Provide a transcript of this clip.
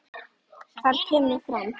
Þar kemur fram